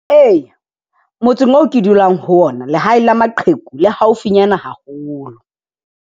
Eya motseng oo ke dulang ho ona lehae la maqheku le haufinyana haholo.